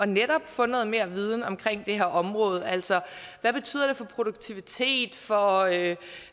netop at få noget mere viden om det her område altså hvad betyder det for produktiviteten for at